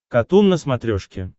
катун на смотрешке